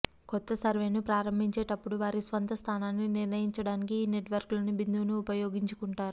కొత్త సర్వేను ప్రారంభించేటప్పుడు వారి స్వంత స్థానాన్ని నిర్ణయించడానికి ఈ నెట్వర్కు లోని బిందువును ఉపయోగించుకుంటారు